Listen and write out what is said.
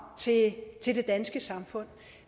til til det danske samfund